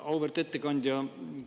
Auväärt ettekandja!